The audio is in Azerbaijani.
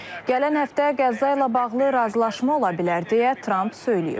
Gələn həftə Qəzza ilə bağlı razılaşma ola bilər deyə Tramp söyləyib.